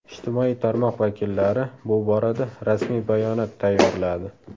Ijtimoiy tarmoq vakillari bu borada rasmiy bayonot tayyorladi.